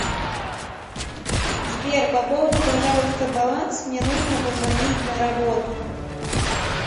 сбер пополни пожалуйста баланс мне нужно позвонить на работу